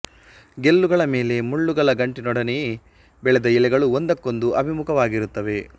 ಗೆಲ್ಲುಗಳ ಮೇಲೆ ಮುಳ್ಳುಗಳ ಗಂಟಿನೊಡನೆಯೇ ಬೆಳೆದ ಎಲೆಗಳು ಒಂದಕ್ಕೊಂದು ಅಭಿಮುಖವಾಗಿರುತ್ತವೆ